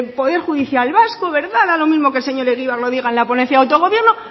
poder judicial vasco verdad da lo mismo que el señor egibar lo diga en la ponencia de autogobierno